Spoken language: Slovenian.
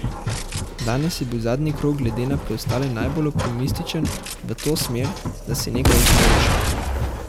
Danes je bil zadnji krog glede na preostale najbolj optimističen v to smer, da se nekaj izboljša.